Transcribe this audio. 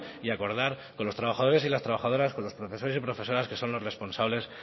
y acordar con los trabajadores y las trabajadoras con los profesores y profesoras que son los responsables